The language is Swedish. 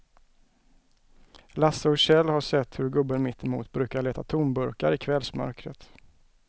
Lasse och Kjell har sett hur gubben mittemot brukar leta tomburkar i kvällsmörkret.